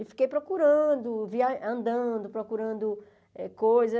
E fiquei procurando, via andando, procurando coisas.